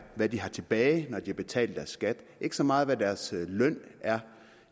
hvad de har tilbage når de har betalt deres skat ikke så meget hvad deres løn er